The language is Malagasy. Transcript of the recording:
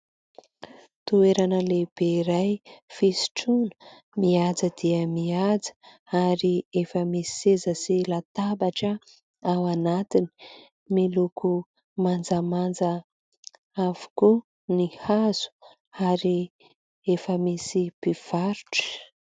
Toerana lehibe iray fisotroana, mihaja dia mihaja ary efa misy seza sy latabatra ao anatiny miloko manjamanja avokoa ny hazo ary efa misy mpivarotra.